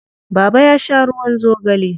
Baba ya sha ruwan zogale.